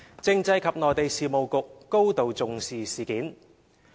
政制及內地事務局高度重視事件。